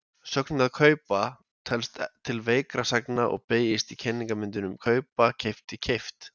Sögnin að kaupa telst til veikra sagna og beygist í kennimyndum kaupa-keypti-keypt.